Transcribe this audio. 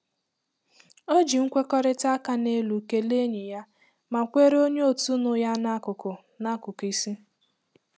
O ji nkwekọrịta áká n'elu kelee enyi ya, ma kweere onye otu nụ ya n'akụkụ n'akụkụ isi.